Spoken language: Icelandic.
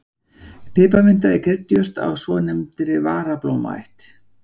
Piparminta er kryddjurt af svonefndri varablómaætt.